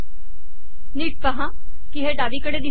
नीट पहा की हे डावीकडे दिसत आहे